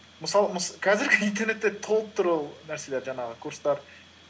қазіргі интернетте толып тұр ол нәрселер жаңағы курстар